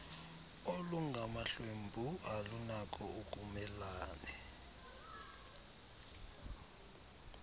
olungamahlwempu alunako ukumelane